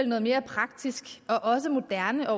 noget mere praktisk og også moderne